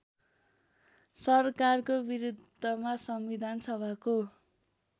सरकारको बिरुद्धमा संविधानसभाको